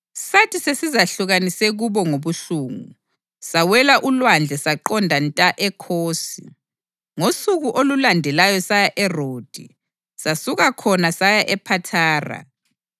Sathi sesizehlukanise kubo ngobuhlungu, sawela ulwandle saqonda nta eKhosi. Ngosuku olulandelayo saya eRodi, sasuka khona saya ePhathara.